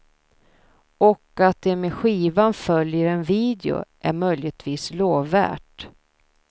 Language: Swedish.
Och att det med skivan följer en video är möjligtvis lovvärt.